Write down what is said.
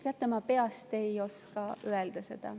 Teate, ma peast ei oska seda öelda.